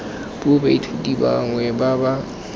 puo baithuti bangwe ba ba